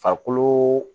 Farikolo